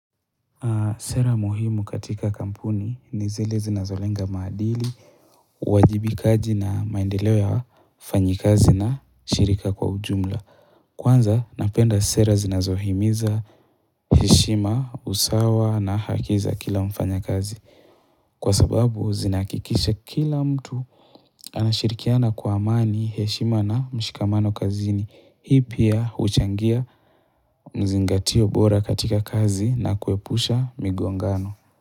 Sera muhimu katika kampuni ni zile zinazolenga maadili, uwajibikaji na maendeleo ya fanyikazi na shirika kwa ujumla. Kwanza, napenda sera zinazohimiza heshima, usawa na haki za kila mfanyakazi. Kwa sababu, zinakikisha kila mtu anashirikiana kwa amani heshima na mshikamano kazini. Hii pia, huchangia mzingatio bora katika kazi na kuepusha migongano.